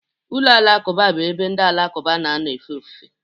ụlọ alakụba bụ ebe ndị Alakụba na-anọ efe ofufe